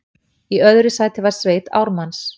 Í öðru sæti var sveit Ármanns